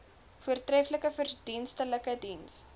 voortreflike verdienstelike diens